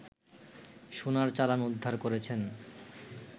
সোনার চালান উদ্ধার করেছেন